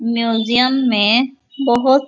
museum में बहुत --